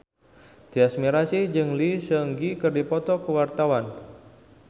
Tyas Mirasih jeung Lee Seung Gi keur dipoto ku wartawan